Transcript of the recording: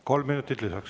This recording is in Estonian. Kolm minutit lisaks.